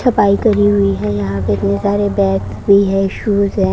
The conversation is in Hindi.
सफाई करी हुई है यहां पे बहुत सारे बैग्स भी है शूज है।